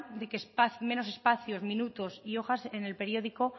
de que menos espacios minutos y hojas en el periódico